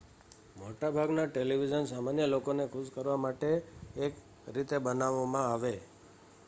મોટા ભાગના ટેલિવિઝન સામાન્ય લોકોને ખુશ કરવા માટે એક રીતે બનાવવામાં આવે